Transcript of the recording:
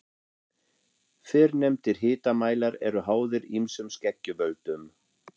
Fyrrnefndir hitamælar eru háðir ýmsum skekkjuvöldum.